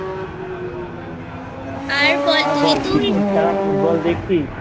আর বল তুই Cricket ছাড়া Football দেখছিস?